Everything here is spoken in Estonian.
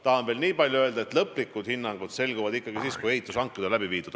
Tahan veel niipalju öelda, et lõplikud hinnangud selguvad ikkagi siis, kui ehitushanked on läbi viidud.